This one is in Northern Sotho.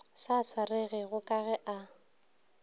sa swaregego ka ge e